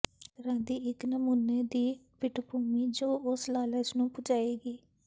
ਇਸ ਤਰ੍ਹਾਂ ਦੀ ਇਕ ਨਮੂਨੇ ਦੀ ਪਿੱਠਭੂਮੀ ਜੋ ਉਸ ਲਾਲਚ ਨੂੰ ਬੁਝਾਏਗੀ